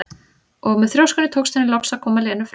Og með þrjóskunni tókst henni loks að koma Lenu fram úr.